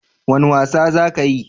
Wane wasa za ka yi?